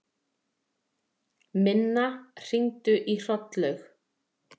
Minna, hringdu í Hrollaug.